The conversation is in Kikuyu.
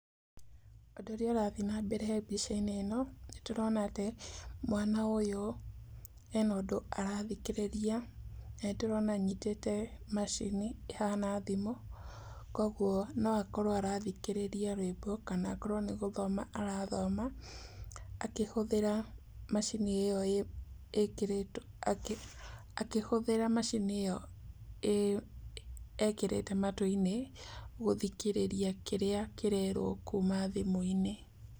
Ũndũ ũrĩa ũrathiĩ na mbere mbica-inĩ ĩno, nĩ tũrona atĩ mwana ũyũ ena ũndũ arathikĩrĩria na nĩ tũrona anyitĩte macini ĩhana thimũ, koguo no akorwo arathikĩrĩria rwĩmbo kana akorwo nĩ gũthoma arathoma, akĩhũthĩra macini ĩo e, akĩhũthĩra macini ĩo ekĩrĩte matũ-inĩ gũthikĩrĩria kĩrĩa kĩrerwo kuma thimũ-inĩ.